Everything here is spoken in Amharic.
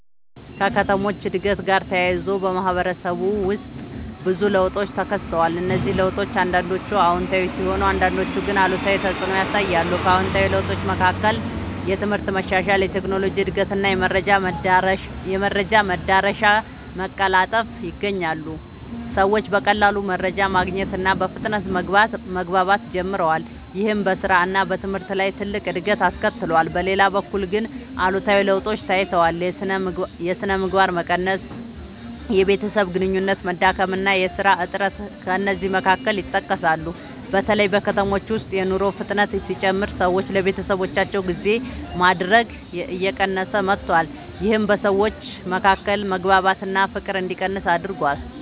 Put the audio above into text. ከከተሞች እድገት ጋር ተያይዞ በማህበረሰብ ውስጥ ብዙ ለውጦች ተከስተዋል። እነዚህ ለውጦች አንዳንዶቹ አዎንታዊ ሲሆኑ አንዳንዶቹ ግን አሉታዊ ተፅዕኖ ያሳያሉ። ከአዎንታዊ ለውጦች መካከል የትምህርት መሻሻል፣ የቴክኖሎጂ እድገት እና የመረጃ መዳረሻ መቀላጠፍ ይገኛሉ። ሰዎች በቀላሉ መረጃ ማግኘት እና በፍጥነት መግባባት ጀምረዋል። ይህም በስራ እና በትምህርት ላይ ትልቅ እድገት አስከትሏል። በሌላ በኩል ግን አሉታዊ ለውጦችም ታይተዋል። የሥነ ምግባር መቀነስ፣ የቤተሰብ ግንኙነት መዳከም እና የሥራ እጥረት ከእነዚህ መካከል ይጠቀሳሉ። በተለይ በከተሞች ውስጥ የኑሮ ፍጥነት ሲጨምር ሰዎች ለቤተሰባቸው ጊዜ ማድረግ እየቀነሰ መጥቷል። ይህም በሰዎች መካከል መግባባት እና ፍቅር እንዲቀንስ አድርጓል።